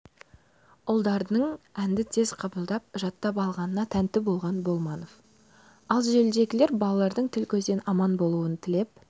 ұлдарының әнді тез қабылдап жаттап алғанына тәнті болған болманов ал желідегілер балалардың тіл-көзден аман болуын тілеп